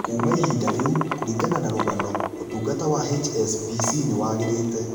Kuma ihinda rĩu, kũrigana na rũgano, ũtugata wa HSBC nĩ wagĩrĩte.